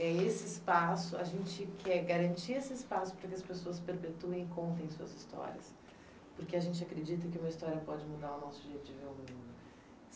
É esse espaço, a gente quer garantir esse espaço para que as pessoas perpetuem e contem suas histórias, porque a gente acredita que uma história pode mudar o nosso jeito de ver o mundo.